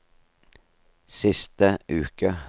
siste uke